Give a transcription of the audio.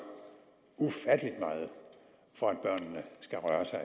ufattelig meget for at børnene skal røre sig